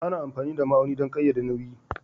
Ana amfani da ma'auni don ƙayyade nauyi